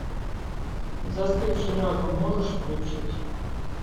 застывший разум можешь включить